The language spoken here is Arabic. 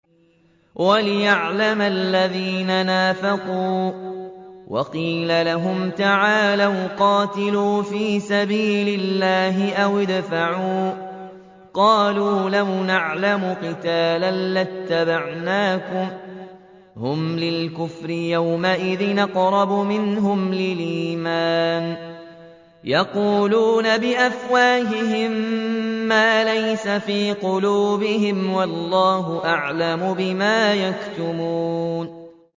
وَلِيَعْلَمَ الَّذِينَ نَافَقُوا ۚ وَقِيلَ لَهُمْ تَعَالَوْا قَاتِلُوا فِي سَبِيلِ اللَّهِ أَوِ ادْفَعُوا ۖ قَالُوا لَوْ نَعْلَمُ قِتَالًا لَّاتَّبَعْنَاكُمْ ۗ هُمْ لِلْكُفْرِ يَوْمَئِذٍ أَقْرَبُ مِنْهُمْ لِلْإِيمَانِ ۚ يَقُولُونَ بِأَفْوَاهِهِم مَّا لَيْسَ فِي قُلُوبِهِمْ ۗ وَاللَّهُ أَعْلَمُ بِمَا يَكْتُمُونَ